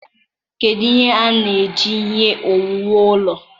kedụ ihe a na-eji ihe owuwu ụlọ?